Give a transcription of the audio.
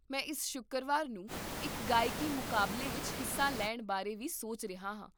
ਮੈਂ ਇਸ ਸ਼ੁੱਕਰਵਾਰ ਨੂੰ ਇੱਕ ਗਾਇਕੀ ਮੁਕਾਬਲੇ ਵਿੱਚ ਹਿੱਸਾ ਲੈਣ ਬਾਰੇ ਵੀ ਸੋਚ ਰਿਹਾ ਹਾਂ